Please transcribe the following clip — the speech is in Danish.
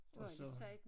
Og så